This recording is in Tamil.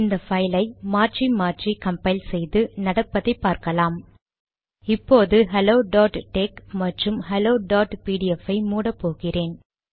இந்த பைல் ஐ மாற்றி மாற்றி கம்பைல் செய்து நடப்பதை பார்க்கலாம் இப்போது ஹெல்லோ டாட் டெக்ஸ் மற்றும் ஹெல்லோ டாட் பிடிஎஃப் ஐ மூடப் போகிறேன்